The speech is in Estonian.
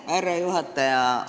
Härra juhataja!